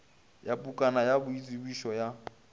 ya pukwana ya boitsebišo ya